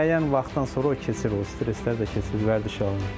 Müəyyən vaxtdan sonra o keçir, o stresslər də keçir, vərdiş alınır.